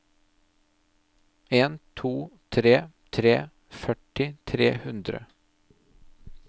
en to tre tre førti tre hundre